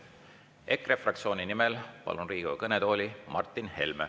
EKRE fraktsiooni nimel palun Riigikogu kõnetooli Martin Helme.